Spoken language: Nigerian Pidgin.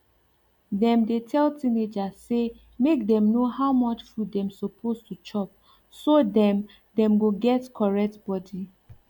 dem dey tell teenagers say make dem know how much food dem suppose to chop so dem dem go get correct body